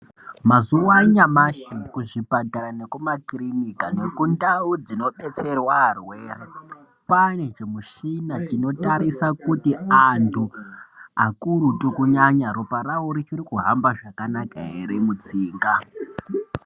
Mazuwa anyamashi kuzvipatara nekumakirinika nekundau dzinodetserwa arwere kwaane zvimishina zvinotarisa kuti antu akurutu kunyanya ropa ravo richiri kuhamba zvakanaka ere mutsinga.